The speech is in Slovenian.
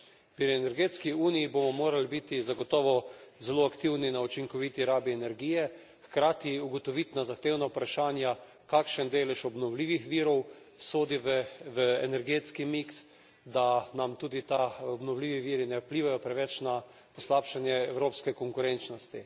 Pri energetski uniji bomo morali biti zagotovo zelo aktivni pri učinkoviti rabi energije, hkrati ugotoviti na zahtevna vprašanja, kakšen delež obnovljivih virov sodi v energetski miks, da nam tudi ti obnovljivi viri ne vplivajo preveč na poslabšanje evropske konkurenčnosti.